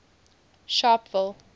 sharpeville